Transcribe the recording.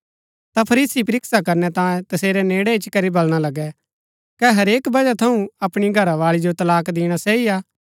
ता फरीसी परीक्षा करनै तांयें तसेरै नेड़ै इच्ची करी बलणा लगै कै हरेक बजह थऊँ अपणी घरावाळी जो तलाक दिणा सही हा